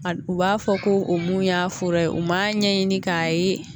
A u b'a fɔ ko o mun y'a fura ye u m'a ɲɛɲini k'a ye